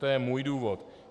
To je můj důvod.